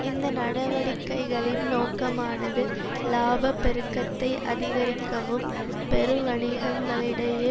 இந்த நடவடிக்கைகளின் நோக்கமானது இலாப பெருக்கத்தை அதிகரிக்கவும் பெருவணிகங்களிடையே